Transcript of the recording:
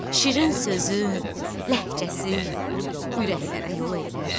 Şirin sözü, ləhcəsi ürəklərə yol elər.